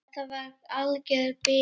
Þetta var alger bilun.